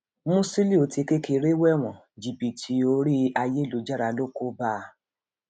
mùsílíù ti kékeré wéwọn jìbìtì orí ayélujára ló kó bá a